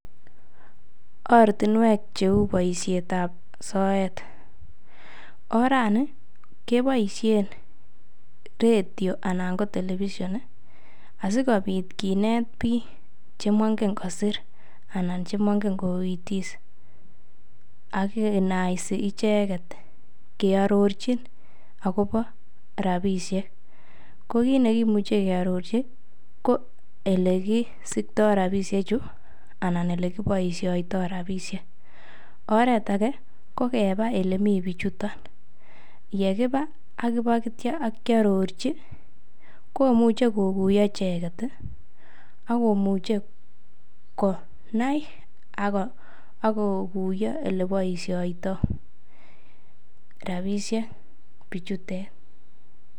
ortinweek cheuu boishet ab soet, orani keboishen redio anan ko televison iih asigobiit kineeb biik chemongen kosiir anan chemongen koitis ak kinaisi icheget keororchi agobo rabishek, ko kiit negimuche kearorchi ko elegisiktoo rabishek chu anan elekiboishoitoo rabishek, oreet age ko kebaa olemii bichuton, yegiba ak ityo bokyorochi komuche koguyo icheget iih ak komuche konai ak koguyo oleboishoitoo rabishek bichuteet.